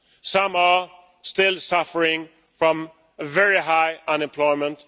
Some are still suffering from very high unemployment.